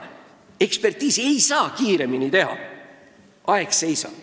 Ekspertiisi ei saa ju kiiremini teha ja aeg seisab.